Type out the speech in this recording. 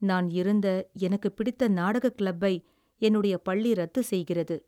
நான் இருந்த, எனக்குப் பிடித்த நாடக கிளப்பை என்னுடைய பள்ளி ரத்து செய்கிறது